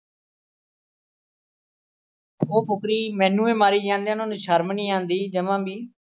ਉਹ ਫੁਕਰੀ ਮੈਨੂੰ ਈ ਮਾਰੇ ਜਾਂਦੇ ਆ, ਉਹਨਾਂ ਨੂੰ ਸ਼ਰਮ ਨੀ ਆਉਂਦੀ ਜਮ੍ਹਾਂ ਵੀ।